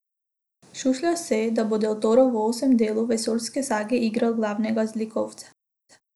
Šušlja se, da bo Del Toro v osmem delu vesoljske sage igral glavnega zlikovca.